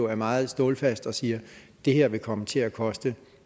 er meget stålfast og siger det her vil komme til at koste